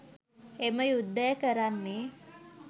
එම යුද්ධය කරන්නේ